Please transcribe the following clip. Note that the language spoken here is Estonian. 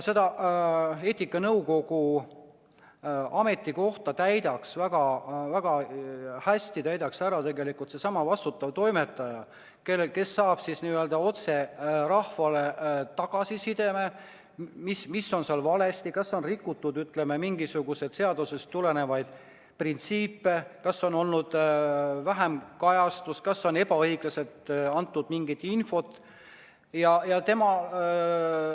Eetikanõukogu koha täidaks väga hästi ära tegelikult seesama vastutav toimetaja, kes saadab n-ö otse rahvale tagasisidet, mis on valesti, kas on rikutud mingisuguseid seadusest tulenevaid printsiipe, kas on olnud vähem kajastusi, kas mingit infot on antud ebaõiglaselt.